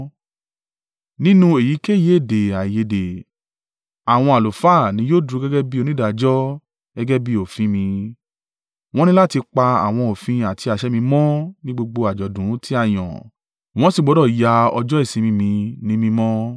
“ ‘Nínú èyíkéyìí èdè-àìyedè, àwọn àlùfáà ní yóò dúró gẹ́gẹ́ bí onídàájọ́ gẹ́gẹ́ bí òfin mi. Wọ́n ní láti pa àwọn òfin àti àṣẹ mi mọ́ ní gbogbo àjọ̀dún tí a yàn, wọn sì gbọdọ̀ ya ọjọ́ ìsinmi mi ní mímọ́.